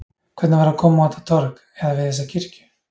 Hvernig var að koma á þetta torg, eða við þessa kirkju?